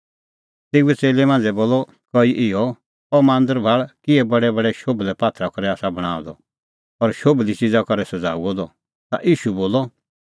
तेऊए च़ेल्लै मांझ़ै बोलअ कई इहअ अह मांदर भाल़ किहै बडैबडै शोभलै पात्थरा करै आसा बणांअ द और शोभली च़िज़ा करै सज़ाऊअ द ता ईशू बोलअ